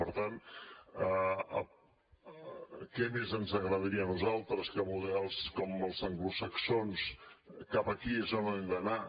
per tant què més ens agradaria a nosaltres que models com els anglosaxons cap aquí és on hem d’anar